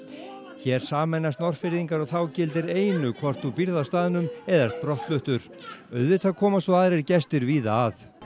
hér sameinast Norðfirðingar og þá gildir einu hvort þú býrð á staðnum eða ert brottfluttur auðvitað koma svo aðrir gestir víða að